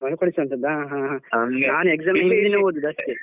ಮರುಕಳಿಸುವಂಥದ್ದಾ. ಹಾ ಹಾ ನಾನ್ exam ಹಿಂದಿನ ದಿನ ಓದುದು ಅಷ್ಟೇ.